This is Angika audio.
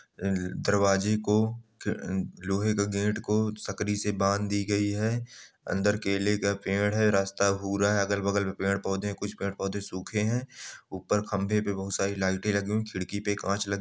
दरवाजे को ह-लोहे के गेट को सकड़ी से बांध दी गई है अंदर केले का पेड़ है रास्ता भूरा है अगल-बगल में पेड़-पौधे है कुछ पेड़-पौधे सूखे हैं ऊपर खंबे पे बहुत सारी लइटे लगी हुई है खिड़की पे कांच लगे --